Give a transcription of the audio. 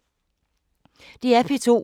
DR P2